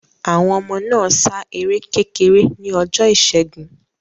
Àwọn ọmọ náà sá eré kékeré ní ọjọ ìṣẹgun